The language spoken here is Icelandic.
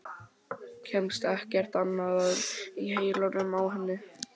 Kemst ekkert annað að í heilanum á henni.